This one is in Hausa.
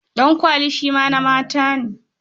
Ɗankwali shi ma na mata ne.